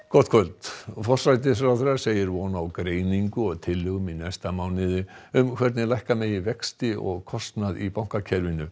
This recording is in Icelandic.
gott kvöld forsætisráðherra segir von á greiningu og tillögum í næsta mánuði um hvernig lækka megi vexti og kostnað í bankakerfinu